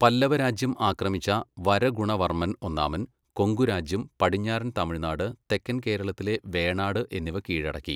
പല്ലവരാജ്യം ആക്രമിച്ച വരഗുണവർമ്മൻ ഒന്നാമൻ, കൊങ്കു രാജ്യം, പടിഞ്ഞാറൻ തമിഴ്നാട്, തെക്കൻ കേരളത്തിലെ വേണാട് എന്നിവ കീഴടക്കി.